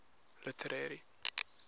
literary